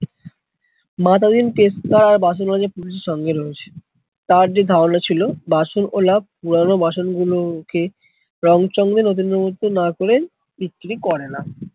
মাতাদিন পেশকার পুলিশের সঙ্গে রয়েছে, তার যে ঘাওলা ছিল বাসনওলা পুরোনো বাসন গুলোকে রং চঙে নতুনের মতো না করে বিক্রি করেনা।